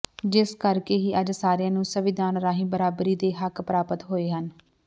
ਜਿਸ ਕਰਕੇ ਹੀ ਅੱਜ ਸਾਰਿਆਂ ਨੂੰ ਸੰਵਿਧਾਨ ਰਾਹੀਂ ਬਰਾਬਰੀ ਦੇ ਹੱਕ ਪ੍ਰਾਪਤ ਹੋਏ ਹਨ